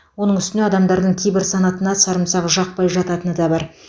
оның үстіне адамдардың кейбір санатына сарымсақ жақпай жататыны да бар